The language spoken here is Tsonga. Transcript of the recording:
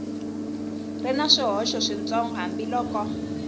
ri na swihoxo switsongo hambiloko